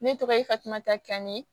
Ne tɔgɔ ye fatumata kani